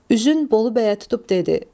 Üzün Bolu bəyə tutub dedi: